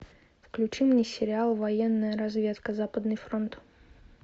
включи мне сериал военная разведка западный фронт